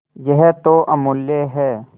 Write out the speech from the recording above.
यह तो अमुल्य है